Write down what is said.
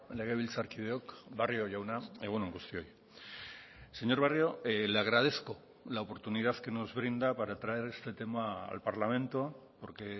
legebiltzarkideok barrio jauna egun on guztioi señor barrio le agradezco la oportunidad que nos brinda para traer este tema al parlamento porque